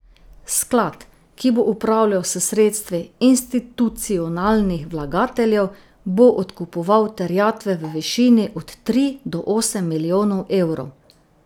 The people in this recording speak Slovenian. Sklad, ki bo upravljal s sredstvi institucionalnih vlagateljev, bo odkupoval terjatve v višini od tri do osem milijonov evrov.